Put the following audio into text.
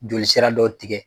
Joli sira dɔ tigɛ.